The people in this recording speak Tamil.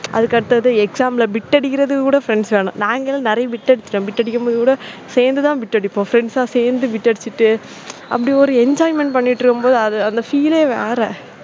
அதுக்கு அடுத்தது exam ல bit அடிக்கிறது கூட friends வேணும். நாங்களும் நிறைய bit அடித்து இருக்கும் bit அடிக்கும் போது கூட சேர்ந்து தான் bit அடிப்போம் friends அ சேர்ந்து bit அடிச்சுட்டு அப்படி ஒரு enjoyment பண்ணி இருக்கும்போது, அது அந்த feel வேற